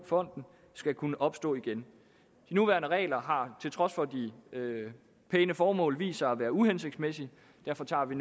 fonden skal kunne opstå igen de nuværende regler har til trods for de pæne formål vist sig at være uhensigtsmæssige derfor tager vi